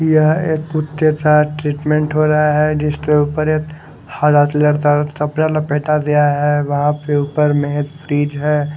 यहाँ एक कुत्ते का ट्रीटमेंट हो रहा है जिसके ऊपर एक लपेटा दिया है वहां पे ऊपर है।